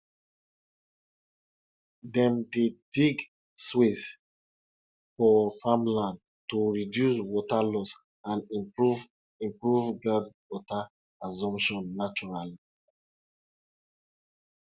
dem pikin dey like to see how seed dey grow after dem don plant am and dey water am every day